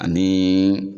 Ani